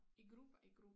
I grupper i gruppe